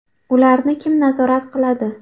Ularni kim nazorat qiladi?.